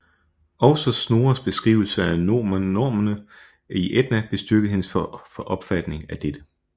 Også Snorres beskrivelse af nornerne i Edda bestyrkede hendes opfatning af dette